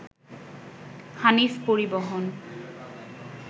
হানিফ পরিবহন